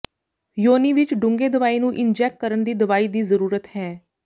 ਯੋਨੀ ਵਿੱਚ ਡੂੰਘੇ ਦਵਾਈ ਨੂੰ ਇੰਜੈੱਕ ਕਰਨ ਦੀ ਦਵਾਈ ਦੀ ਜ਼ਰੂਰਤ ਹੈ